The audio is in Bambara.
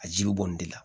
A jiri bɛ bɔ nin de la